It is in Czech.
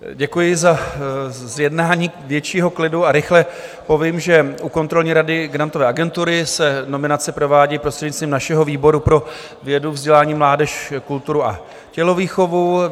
Děkuji za zjednání většího klidu a rychle povím, že u kontrolní rady Grantové agentury se nominace provádí prostřednictvím našeho výboru pro vědu, vzdělání, mládež, kulturu a tělovýchovu.